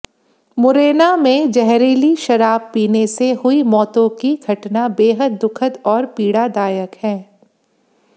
मुरैना में जहरीली शराब पीने से हुई मौतों की घटना बेहद दुखद और पीड़ादायक है